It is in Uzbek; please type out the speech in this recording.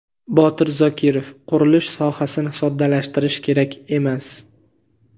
Botir Zokirov: Qurilish sohasini soddalashtirish kerak emas.